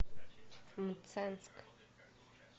мценск